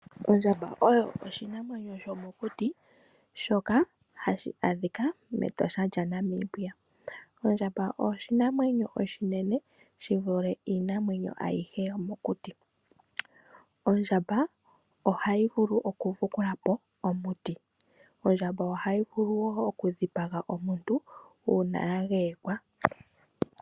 Ondjamba oyo oshinamwenyo shomokuti shoka hashi adhika meEtosha lyaNambia. Ondjamba oshinamwenyo oshinene shi vule iinamwenyo ayihe yomokuti. Ondjamba ohayi vulu okudhikula po omuti. Ondjamba ohayi vulu wo okudhipaga omuntu uuna ya geeyekwa.